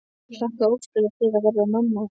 Hlakkaði óskaplega til að verða mamma.